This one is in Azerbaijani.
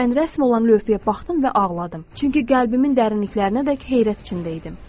Mən rəsm olan lövhəyə baxdım və ağladım, çünki qəlbimin dərinliklərinədək heyrət içində idim.